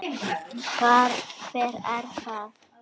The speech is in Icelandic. Hver er það?